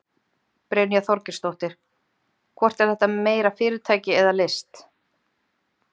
Brynja Þorgeirsdóttir: Hvort er þetta meira fyrirtæki eða list?